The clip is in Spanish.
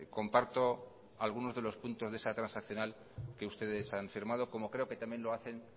comparto alguno de los puntos de esa transaccional que ustedes han firmado como creo que también lo hacen